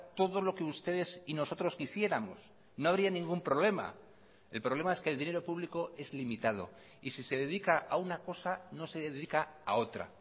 todo lo que ustedes y nosotros quisiéramos no habría ningún problema el problema es que el dinero público es limitado y si se dedica a una cosa no se dedica a otra